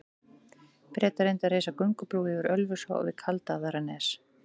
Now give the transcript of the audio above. Bretar reyndu að reisa göngubrú yfir Ölfusá við Kaldaðarnes.